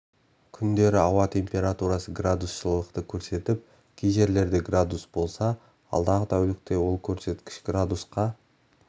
күндері ауа температурасы градус жылылықты көрсетіп кей жерлерде градус болса алдағы тәулікте ол көрсеткіш градусқа